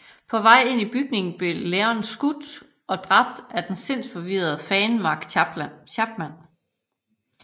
På vej ind i bygningen blev Lennon skudt ned og dræbt af den sindsforvirrerede fan Mark Chapman